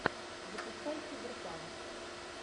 запускай киберпанк